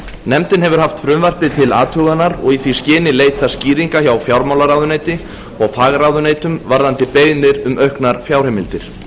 nefndin hefur haft frumvarpið til athugunar og í því skyni leitað skýringa hjá fjármálaráðuneyti og fagráðuneytum varðandi beiðnir um auknar fjárheimildir